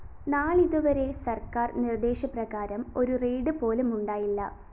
നാളിതുവരെ സര്‍ക്കാര്‍ നിര്‍ദ്ദേശ പ്രകാരം ഒരു റെയ്ഡ്‌ പോലുമുണ്ടായില്ല